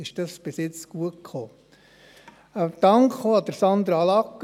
Ein Dank geht auch an Sandra Lagger.